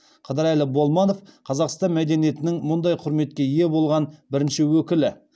қыдырәлі болманов қазақстан мәдениетінің мұндай құрметке ие болған бірінші өкілі